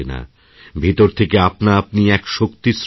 ভিতর থেকে আপনাআপনি এক শক্তির সৃষ্টি হয়